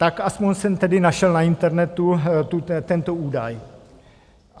Tak aspoň jsem tedy našel na internetu tento údaj.